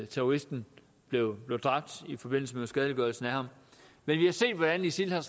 terroristen blev dræbt i forbindelse med uskadeliggørelsen af ham men vi har set hvordan isil har